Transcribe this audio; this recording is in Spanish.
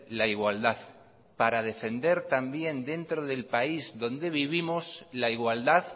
la igualdad para defender también dentro del país donde vivimos la igualdad